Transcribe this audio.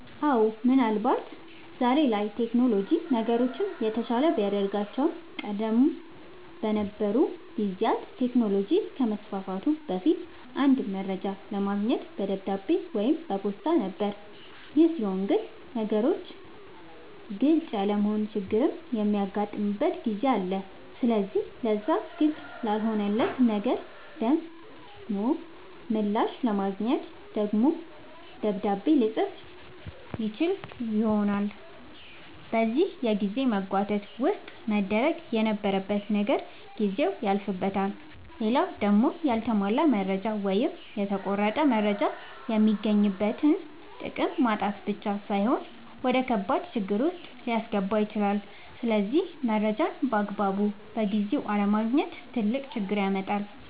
አወ ምን አልባት ዛሬ ላይ ቴክኖሎጅ ነገሮችን የተሻለ ቢያደርጋቸውም ቀደም በነበሩ ጊዜያት ቴክኖሎጅ ከመስፋፋቱ በፊት አንድ መረጃ ለማግኘት በደብዳቤ ወይም በፖስታ ነበር ይሄ ሲሆን ግን ነገሮች ግልፅ ያለመሆን ችግርም የሚያጋጥምበት ጊዜ አለ ስለዚህ ለዛ ግልፅ ላልሆነለት ነገር ደሞ ምላሽ ለማግኘት ደግሞ ደብዳቤ ልፅፍ ይችላል በዚህ የጊዜ መጓተት ውስጥ መደረግ የነበረበት ነገር ጊዜው ያልፍበታል። ሌላው ደሞ ያልተሟላ መረጃ ወይም የተቆረጠ መረጃ የሚገኝበትን ጥቅም ማጣት ብቻ ሳይሆን ወደከባድ ችግር ዉስጥ ሊያስገባ ይችላል ስለዚህ መረጃን ባግባቡና በጊዜው አለማግኘት ትልቅ ችግር ያመጣል